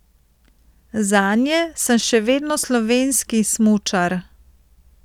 Zanje sem še vedno slovenski smučar.